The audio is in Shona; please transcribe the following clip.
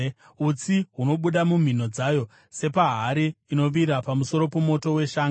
Utsi hunobuda mumhino dzayo sepahari inovira pamusoro pomoto wetsanga.